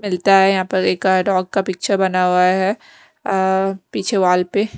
मिलता है यहां पर एक गाय डॉग का पिक्चर बना हुआ है अह पीछे वॉल पे।